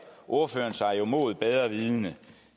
ordføreren sig jo mod bedre vidende